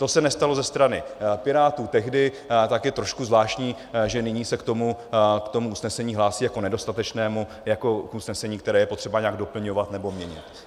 To se nestalo ze strany Pirátů tehdy, tak je trošku zvláštní, že nyní se k tomu usnesení hlásí jako nedostatečnému, jako k usnesení, které je potřeba nějak doplňovat nebo měnit.